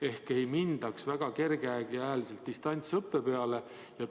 Ehk ei tohiks väga kerge käega distantsõppe peale minna.